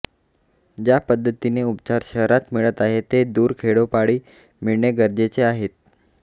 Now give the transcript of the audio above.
ज्या पद्धतीने उपचार शहरात मिळत आहेत ते दूर खेडोपाडी मिळणे गरजेचे आहे